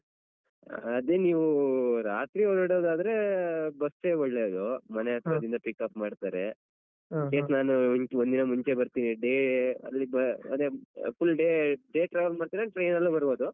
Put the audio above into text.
ಅದೇ ನೀವು ರಾತ್ರಿ ಹೊರಡೊದಾದ್ರೆ bus ಏ ಒಳ್ಳೇದು. pick-up ಮಾಡ್ತಾರೆ. ಅದಕ್ಕೆ ನಾನು ಒಂದು ದಿನ ಮುಂಚೆ ಬರ್ತೀನಿ day ಅದ್ರಲ್ಲಿ ಬ ಅದೇ full day , day travel ಮಾಡ್ತೀರಾ train ಬರ್ಬೋದು.